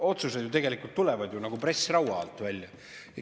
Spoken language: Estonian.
Otsused ju tegelikult tulevad nagu pressraua alt välja.